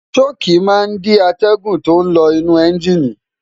ṣọ́ọ̀kì máa ń dí atẹ́gùn tó ń lọ inú ẹ́ńjìnì